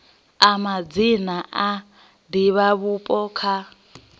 a madzina a divhavhupo kha